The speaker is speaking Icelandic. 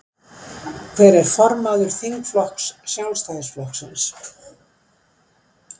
Hver er formaður þingflokks Sjálfstæðisflokksins?